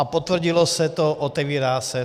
A potvrdilo se to, otevírá se.